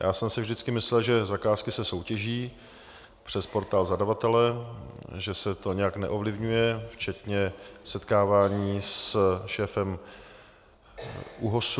Já jsem si vždycky myslel, že zakázky se soutěží přes portál zadavatele, že se to nějak neovlivňuje včetně setkávání s šéfem ÚOHS.